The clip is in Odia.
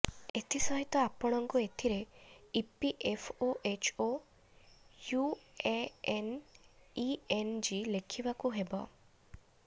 ଏଥିସହିତ ଆପଣଙ୍କୁ ଏଥିରେ ଇପିଏଫଓଏଚଓ ୟୁଏଏନ ଇଏନଜି ଲେଖଇବାକୁ ହେବ